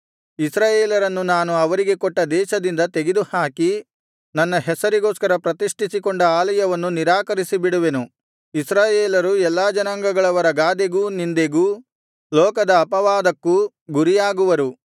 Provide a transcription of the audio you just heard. ಇಸ್ರಾಯೇಲರನ್ನು ನಾನು ಅವರಿಗೆ ಕೊಟ್ಟ ದೇಶದಿಂದ ತೆಗೆದು ಹಾಕಿ ನನ್ನ ಹೆಸರಿಗೋಸ್ಕರ ಪ್ರತಿಷ್ಠಿಸಿಕೊಂಡ ಆಲಯವನ್ನು ನಿರಾಕರಿಸಿಬಿಡುವೆನು ಇಸ್ರಾಯೇಲರು ಎಲ್ಲಾ ಜನಾಂಗಗಳವರ ಗಾದೆಗೂ ನಿಂದೆಗೂ ಲೋಕದ ಅಪವಾದಕ್ಕೂ ಗುರಿಯಾಗುವಾಗುವರು